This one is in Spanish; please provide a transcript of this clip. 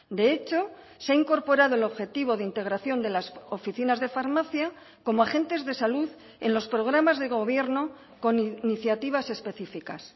de hecho se ha incorporado el objetivo de integración de las oficinas de farmacia como agentes de salud en los programas de gobierno con iniciativas específicas